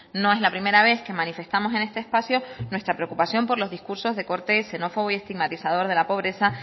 no es la primera vez que manifestamos en este espacio nuestra preocupación por los discursos de corte xenófobo y estigmatizador de la pobreza